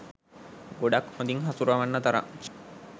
ගොඩක් හොඳින් හසුරවන්න තරම්.